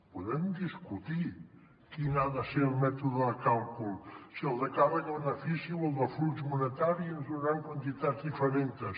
podem discutir quin ha de ser el mètode de càlcul si el de càrrega benefici o el de flux monetari i ens donaran quantitats diferents